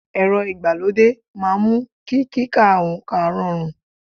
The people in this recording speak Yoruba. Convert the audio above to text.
Ẹ̀rọ ìgbàlódé máa ń mú kí kíka oǹkà rọrùn